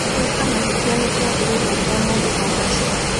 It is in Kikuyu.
Gwĩka mahĩtia nĩ kĩambĩrĩria kĩa mũndũ kũgaacĩra.